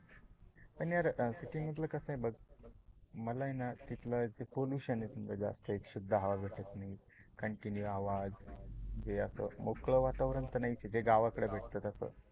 पण यार सीटी मधल कस आहे बघ, मला आहे न तिथलं पोलूशन एक शुद्ध हवा भेटत नाही, कंटीन्यू आवाज मोकल वातावरण तर नाहीच आहे. जे गावाकड भेटत तस